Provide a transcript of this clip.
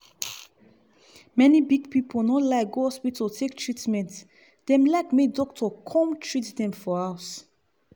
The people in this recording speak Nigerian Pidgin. many big pipu no like go hospital take treatment dem like make doctor come treat dem for house.